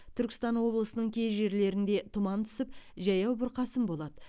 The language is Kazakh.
түркістан облысының кей жерлерінде тұман түсіп жаяу бұрқасын болады